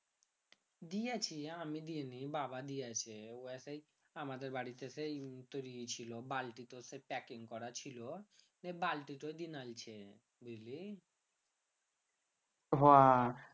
দিয়েছি আমি দি নি বাবা দিয়েছে ওই একাই আমাদের বাড়িতে সেই বাল্টি তো packing করা ছিল বাল্টি বুঝলি হ